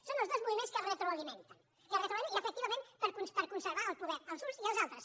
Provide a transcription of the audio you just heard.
són els dos moviments que es retroalimenten i efectivament per conservar el poder els uns i els altres